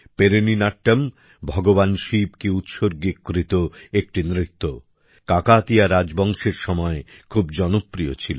Perini Natyam ভগবান শিবকে উৎস্বর্গীকৃতএকটি নৃত্য কাকাতিয়া রাজবংশের সময় খুব জনপ্রিয় ছিল